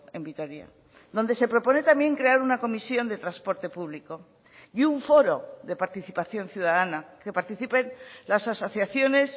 en vitoria donde se propone también crear una comisión de transporte público y un foro de participación ciudadana que participen las asociaciones